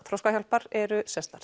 Þroskahjálpar eru